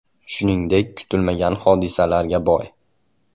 Shuningdek, kutilmagan hodisalarga boy.